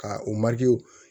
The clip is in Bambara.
Ka o